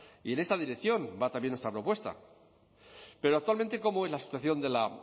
y en esa dirección va también nuestra propuesta pero actualmente cómo en la situación de la